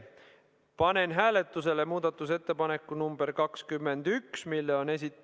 Panen hääletusele muudatusettepaneku nr 21, mille on esitanud ...